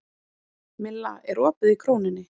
Milla, er opið í Krónunni?